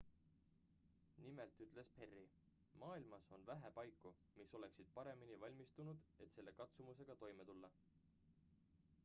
"nimelt ültes perry: "maailmas on vähe paiku mis oleksid paremini valmistunud et selle katsumusega toime tulla.""